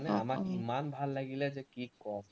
আমাৰ ইমান ভাল লাগিলে যে কি কম